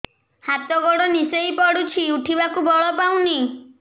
ହାତ ଗୋଡ ନିସେଇ ପଡୁଛି ଉଠିବାକୁ ବଳ ପାଉନି